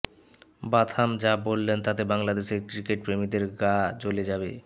Botham যা বললেন তাতে বাংলাদেশের ক্রিকেটপ্রেমীদের গা জ্বলে যাবে